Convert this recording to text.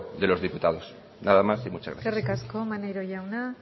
de los diputados nada más y muchas gracias eskerrik asko maneiro jauna